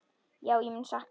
Já, ég mun sakna hans.